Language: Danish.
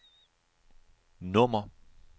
nummer